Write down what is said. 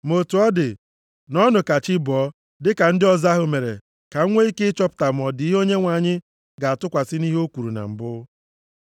Ma otu ọ dị, nọọnụ ka chị bọọ dịka ndị ọzọ ahụ mere ka m nwee ike chọpụta ma ọ dị ihe Onyenwe anyị ga-atụkwasị nʼihe o kwuru na mbụ.”